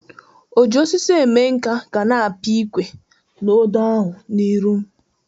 O ji osisi eme nka gana apị ikwe na odo ahụ n'iru m